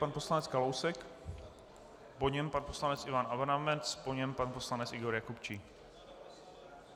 Pan poslanec Kalousek, po něm pan poslanec Ivan Adamec, po něm pan poslanec Igor Jakubčík.